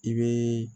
I bɛ